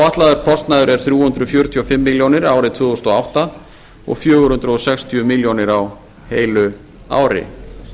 áætlaður kostnaður er þrjú hundruð fjörutíu og fimm milljónir árið tvö þúsund og átta og fjögur hundruð sextíu milljónir á heilu ári